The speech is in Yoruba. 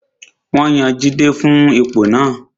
Wọ́n yan Jide fún ipò náà